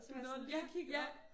Du nåede lige at kigge op